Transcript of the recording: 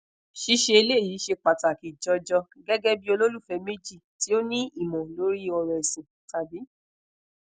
ṣiṣe eleyi ṣe pataki jọjọ gẹ́gẹ́ bi ololufẹ meji ti o ni imọ̀ lori ọ̀rọ̀ ẹ̀sin tabi